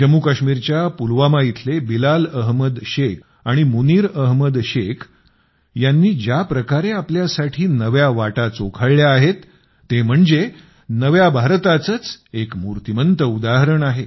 जम्मूकश्मीरच्या पुलवामा इथले बिलाल अहमद शेख आणि मुनीर अहमद शेख यांनी ज्याप्रकारे आपल्यासाठी नव्या वाटा चोखाळल्या आहेत ते म्हणजे नव्या भारताचेच एक मूर्तिमंत उदाहरण आहे